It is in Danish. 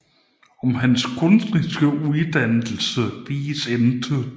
Om hans kunstneriske uddannelse vides intet